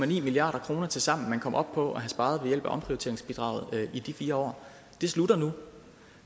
milliard kroner tilsammen man kom op på at have sparet ved hjælp af omprioriteringsbidraget i de fire år det slutter nu